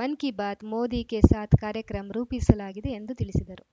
ಮನ್‌ ಕಿ ಬಾತ್‌ ಮೋದಿ ಕೆ ಸಾಥ್‌ ಕಾರ್ಯಕ್ರಮ್ ರೂಪಿಸಲಾಗಿದೆ ಎಂದು ತಿಳಿಸಿದರು